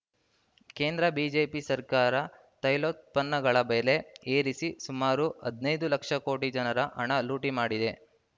ಕೇಂದ್ರ ಬಿಜೆಪಿ ಸರ್ಕಾರ ತೈಲೋತ್ಪನ್ನಗಳ ಬೆಲೆ ಏರಿಸಿ ಸುಮಾರು ಹದನೈದು ಲಕ್ಷ ಕೋಟಿ ಜನರ ಹಣ ಲೋಟಿ ಮಾಡಿದೆ